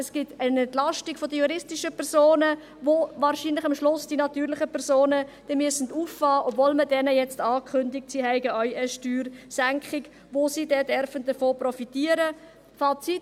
Es gibt eine Entlastung der juristischen Personen, welche die natürlichen Personen am Schluss wohl auffangen müssen, obwohl man diesen jetzt ankündigt, dass sie auch eine Steuersenkung erhalten werden, von welcher sie profitieren dürfen.